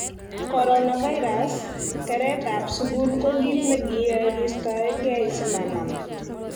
Coronavirus:keretab sukul ko kit nekiyoe kistoenge simanam